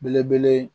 Belebele